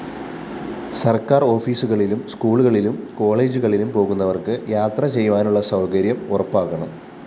സര്‍ക്കാര്‍ ഓഫീസുകളിലും സ്‌കൂളുകളിലും കോളേജുകളിലും പോകുന്നവര്‍ക്ക് യാത്രചെയ്യാനുള്ള സൗകര്യവും ഉറപ്പാക്കണം